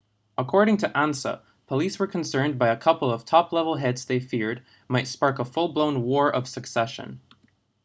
according to ansa police were concerned by a couple of top-level hits they feared might spark a full-blown war of succession